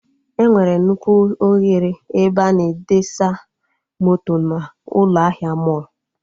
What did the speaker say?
Enwere nnukwu oghere ebe a na-edesa moto na ụlọ ahịa mọlụ